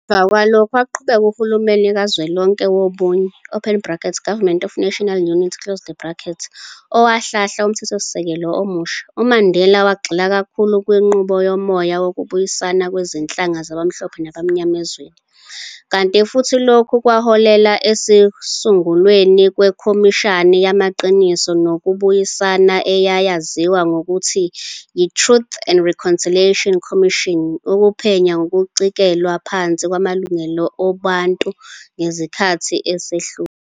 Emuva kwalokhu waqhuba uhulumeni kazwelonke wobunye, Government of National Unity, owahlahla uMthethosisekelo omusha, uMandela wagxila kakhulu kwinqubo yomoya wokubuyisana kwezinhlanga zabamhlophe nabamnyama ezweni, kanti futhi lokhu kwaholela ekusungulweni kweKhomishana Yamaqiniso nokuBuyisana eyayaziwa ngelokuthi yi-Truth and Reconciliation Commission ukuphenya ngokucikelwa phansi kwamalungelo obuntu ngesikhathi esedlule.